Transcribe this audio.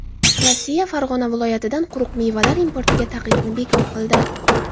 Rossiya Farg‘ona viloyatidan quruq mevalar importiga taqiqni bekor qildi.